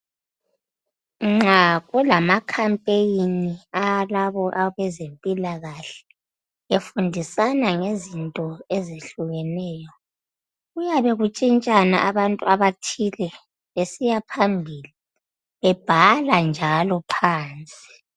Nxa kulama campaign alabo abezempilakahle befundisana ngezinto ezehlukeneyo kuyabe kuntshintshana abantu abathile besiyaphambili bebhala njalo phansi.